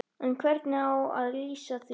En hvernig á að LÝSA því?